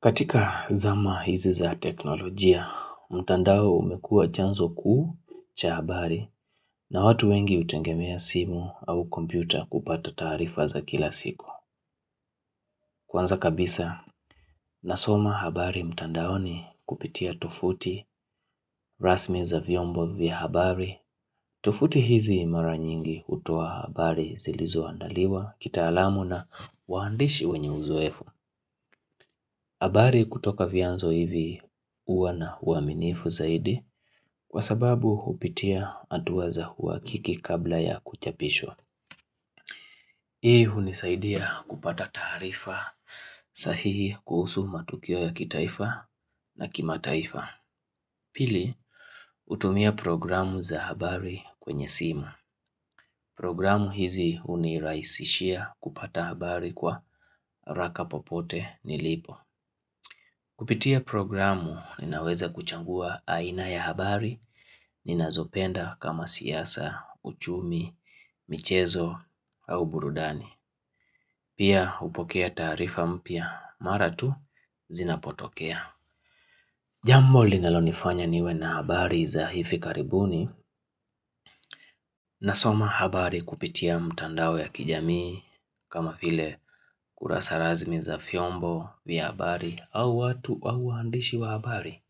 Katika zama hizi za teknolojia, mtandao umekua chanzo kuu cha habari na watu wengi hutengemea simu au kompyuta kupata taarifa za kila siku. Kwanza kabisa, nasoma habari mtandaoni kupitia tuvuti rasmi za vyombo vya habari. Tuvuti hizi mara nyingi hutoa habari zilizo andaliwa kitaalamu na waandishi wenye uzoefu habari kutoka vianzo hivi huwa na uaminifu zaidi kwa sababu hupitia hatua za huwakiki kabla ya kuchapishwa. Hii hunisaidia kupata taarifa sahihi kuhusu matukio ya kitaifa na kimataifa. Pili, utumia programu za habari kwenye simu. Programu hizi hunirahisishia kupata habari kwa haraka popote nilipo. Kupitia programu ninaweza kuchangua aina ya habari nina zopenda kama siyasa, uchumi, michezo au burudani. Pia hupokea tasrifa mpya mara tu zinapotokea. Jambo linalo nifanya niwe na habari za hifi karibuni, na soma habari kupitia mtandao ya kijamii kama file kurasa razmi za fyombo vya habari au watu au handishi wa habari.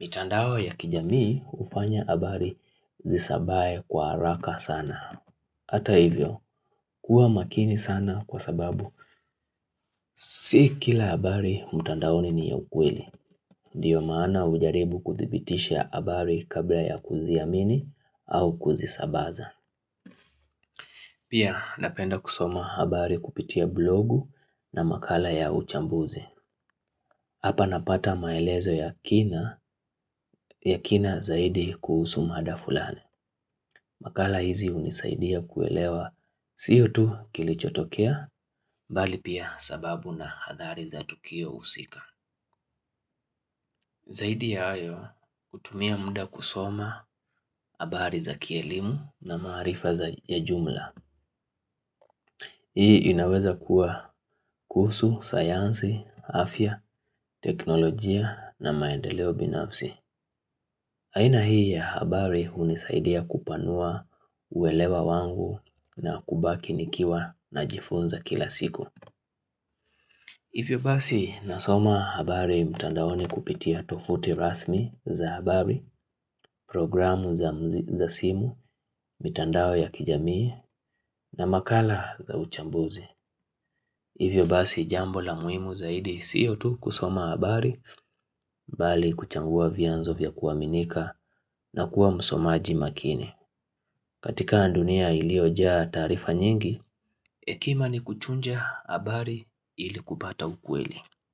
Mitandao ya kijamii hufanya habari zisabae kwa haraka sana. Hata hivyo, kuwa makini sana kwa sababu, si kila habari mtandaoni ni ya ukweli. Ndiyo maana hujaribu kudhibitisha abari kabla ya kuziamini au kuzisabaza. Pia napenda kusoma habari kupitia blogu na makala ya uchambuzi. Hapa napata maelezo ya kina, ya kina zaidi kuhusu mada fulani. Makala hizi hunisaidia kuelewa siyo tu kilichotokea, bali pia sababu na hadhari za tukio husika. Zaidi ya hayo hutumia mda kusoma habari za kielimu na maarifa za ya jumla. Hii inaweza kuwa kuhusu, sayansi, afya, teknolojia na maendeleo binafsi. Aina hii ya habari hunisaidia kupanua uelewa wangu na kubaki nikiwa na jifunza kila siku. Hivyo basi nasoma habari mtandaoni kupitia tofuti rasmi za habari, programu zam za simu, mtandao ya kijamii na makala za uchambuzi. Hivyo basi jambo la muhimu zaidi sio tu kusoma habari, bali kuchagua vyanzo vya kuaminika na kuwa msomaji makini. Katika ndunia iliojaa taarifa nyingi, ekima ni kuchunja habari ili kupata ukweli.